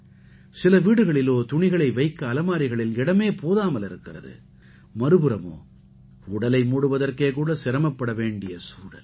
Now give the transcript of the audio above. சில வீடுகளிலோ துணிகளை வைக்க அலமாரிகளில் இடமே போதாமல் இருக்கிறது மறுபுறமோ உடலை மூடுவதற்கே கூட சிரமப்பட வேண்டிய சூழல்